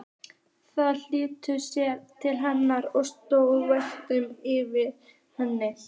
Þau flýttu sér til hennar og stóðu vandræðaleg yfir henni.